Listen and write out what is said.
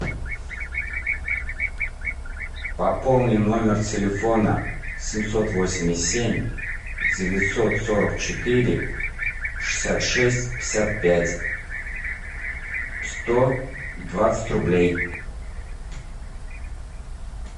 пополни номер телефона семьсот восемьдесят семь девятьсот сорок четыре шестьдесят шесть пятьдесят пять сто двадцать рублей